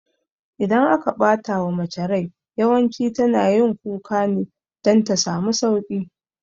Idan aka ɓatawa mace rai yawanci tana yin kuka ne dan ta samu sauƙi